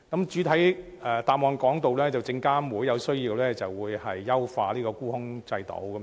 主體答覆提到，證監會在有需要時會優化沽空制度。